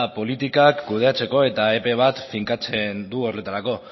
politikak kudeatzeko eta epe bat finkatzen du horretarako